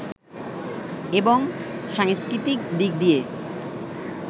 এবং সাংস্কৃতিক দিক দিয়ে